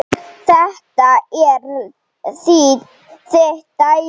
Þetta er þitt dæmi.